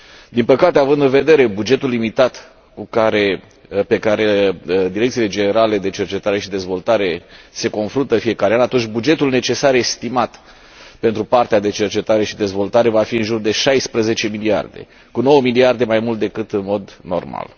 Din păcate, având în vedere bugetul limitat cu care direcțiile generale de cercetare și dezvoltare se confruntă în fiecare an, bugetul necesar estimat pentru partea de cercetare și dezvoltare va fi în jur de 16 miliarde, cu nouă miliarde mai mult decât în mod normal.